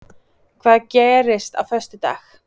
Hvað gerist á föstudag?